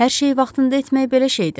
Hər şeyi vaxtında etmək belə şeydir.